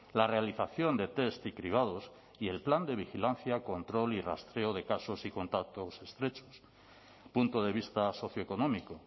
la realización de test y cribados y el plan de vigilancia control y rastreo de casos y contactos estrechos punto de vista socioeconómico